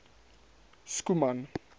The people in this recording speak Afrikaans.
schoeman